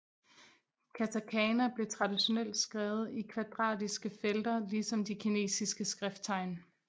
Katakana blev traditionelt skrevet i kvadratiske felter ligesom de kinesiske skrifttegn